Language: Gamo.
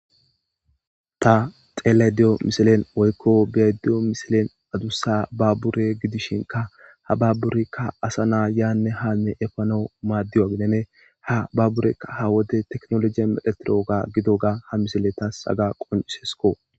Ta xeelediyo misilen woykko beediyo misilen adussa babbure gidishinka ha babburikka asa naa yaanne haalne efano maaddiyo agidene ha babburekka ha wode teknologiya meletiro oga gido ga ha misile tas aga qonisesko.